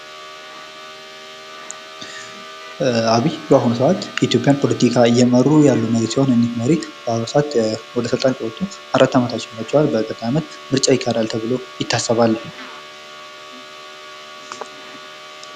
አብይ በአሁኑ ሰዓት የኢትዮጵያን ፖለቲካ እየመሩ ያሉ መሪ ሲሆን እኝህ መሪ በአሁኑ ሰዓት ወደ ስልጣን ከወጡ አራት አመት ሆናቹሃል ። በቀጣይ ዓመት ምርጫ ይካሄዳል ተብሎ ይታሰባል ።